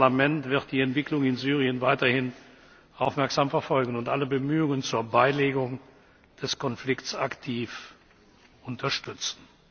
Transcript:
Unser Parlament wird die Entwicklung in Syrien weiterhin aufmerksam verfolgen und alle Bemühungen zur Beilegung des Konflikts aktiv unterstützen.